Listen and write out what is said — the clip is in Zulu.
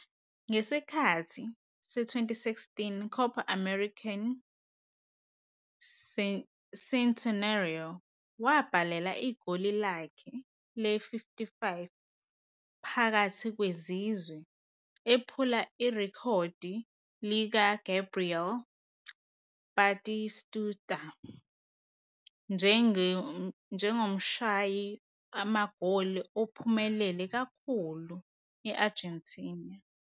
Ngesikhathi se-2016 Copa América Centenario, wabhala igoli lakhe le-55 phakathi kwezizwe, ephula irekhodi likaGabriel Batistuta njengomshayi magoli ophumelele kakhulu e-Argentina.